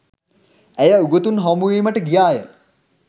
ඇය උගතුන් හමුවීමට ගියා ය.